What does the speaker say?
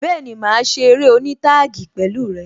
Bẹẹni, máa ṣe eré oní taagi pẹ̀lú rẹ